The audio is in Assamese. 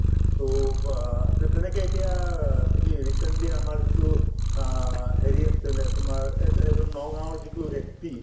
so, তে তেনেকে এতিয়া তুমি recently আমাৰ যিটো অ হেৰি আছিলে তোমাৰ এট এজন নগাঁৱৰ যিটো SP